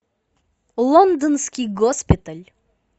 лондонский госпиталь